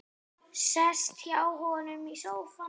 Sest hjá honum í sófann.